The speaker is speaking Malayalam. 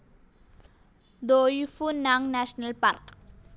ദോയി ഫു നാങ് നാഷണൽ പാർക്ക്‌